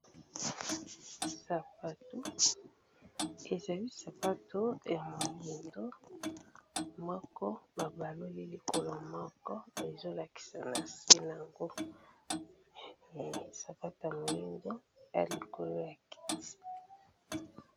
Sapatu, ezali sapato ya moyindo moko ba baloli likolo moko ezo lakisa na se nango sapatu ya moyindo ea likolo ya kiti.